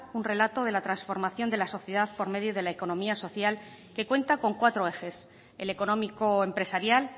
un relato de la transformación de la sociedad por medio de la economía social que cuenta con cuatro ejes el económico empresarial